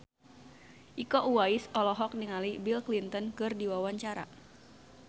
Iko Uwais olohok ningali Bill Clinton keur diwawancara